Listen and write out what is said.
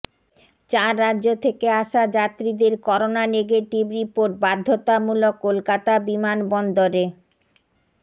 চার রাজ্য থেকে আসা যাত্রীদের করোনা নেগেটিভ রিপোর্ট বাধ্যতামূলক কলকাতা বিমানবন্দরে